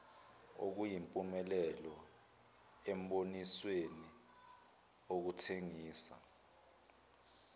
okuyimpumelelo embonisweni wokuthengisa